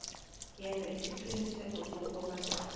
yenza isiqiniseko sokobana